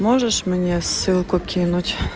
можешь мне ссылку кинуть